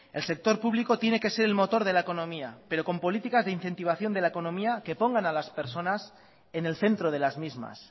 el sector público tiene que ser el motor de la economía pero con políticas de incentivación de la economía que pongan a las personas en el centro de las mismas